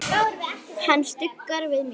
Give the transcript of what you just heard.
Hann stuggar við mér.